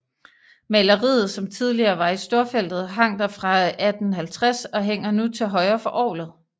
Maleriet som tidligere var i storfeltet hang der fra 1850 og hænger nu til højre for orglet